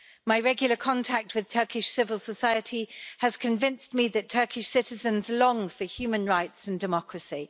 My regular contact with Turkish civil society has convinced me that Turkish citizens long for human rights and democracy.